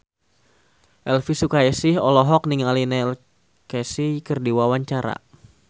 Elvi Sukaesih olohok ningali Neil Casey keur diwawancara